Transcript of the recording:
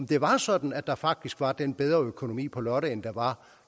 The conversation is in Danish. det var sådan at der faktisk var den bedre økonomi på lotte end der var